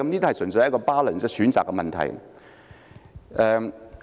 這純粹是 balance 的選擇問題。